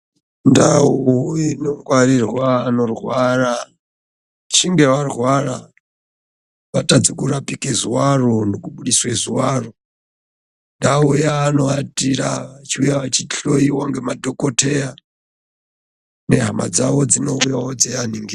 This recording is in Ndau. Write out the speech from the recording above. Ndau inongwarirwa anorwara vachinge varwara vatadza kurapika ruvaro nekubudisa ndau yavanowatira vachiuya vachihloiwa nemadhokodheya nehama dzawo dzinouyawo dzeivaningira.